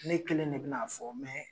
Ne kelen de bɛna'a fɔ